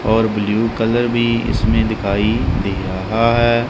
और blue colour भी इसमें दिखाई दे रहा है।